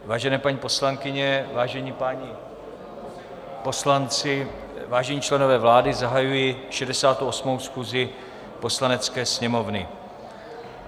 Vážené paní poslankyně, vážení páni poslanci, vážení členové vlády, zahajuji 68. schůzi Poslanecké sněmovny.